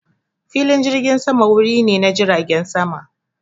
Filin jirgin sama wuri ne na jiragen sama.